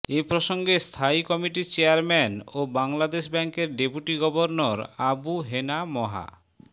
এ প্রসঙ্গে স্থায়ী কমিটির চেয়ারম্যান ও বাংলাদেশ ব্যাংকের ডেপুটি গভর্নর আবু হেনা মোহা